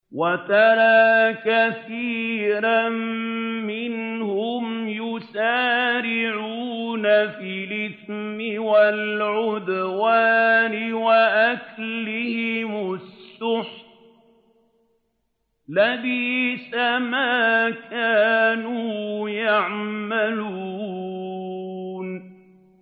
وَتَرَىٰ كَثِيرًا مِّنْهُمْ يُسَارِعُونَ فِي الْإِثْمِ وَالْعُدْوَانِ وَأَكْلِهِمُ السُّحْتَ ۚ لَبِئْسَ مَا كَانُوا يَعْمَلُونَ